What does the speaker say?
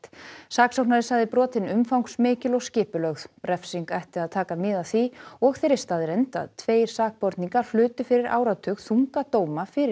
saksóknari sagði brotin umfangsmikil og skipulögð refsing ætti að taka mið af því og þeirri staðreynd að tveir sakborninga hlutu fyrir áratug þunga dóma fyrir